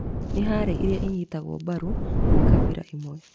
Nĩ harĩ iria inyitagwo mbaru nĩ kabira imwe